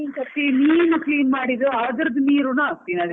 ಒಂದೊಂದು ಸರ್ತಿ ಮೀನ್ clean ಮಾಡಿದ್ದು ಅದ್ರುದು ನೀರುನು ಹಾಕ್ತಿನಿ ಅದ್ಕೆ.